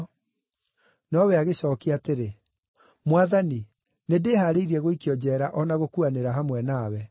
Nowe agĩcookia atĩrĩ, “Mwathani, nĩndĩhaarĩirie gũikio njeera o na gũkuanĩra hamwe nawe.”